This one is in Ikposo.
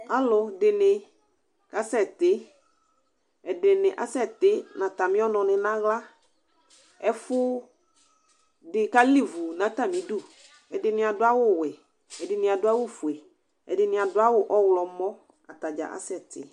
Alʋ dini kasɛti ɛdini asɛki nʋ atami ɔnʋni nʋ aɣla ɛfudi kalɛ ivi nʋ atami idʋ ɛdini adʋ awʋwɛ ɛdini adʋ awʋfue ɛdini adʋ awʋ ɔwlɔmo atadza asɛti